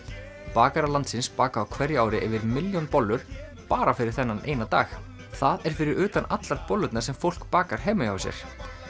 bakarar landsins baka á hverju ári yfir milljón bollur bara fyrir þennan dag það er fyrir utan allar bollurnar sem fólk bakar heima hjá sér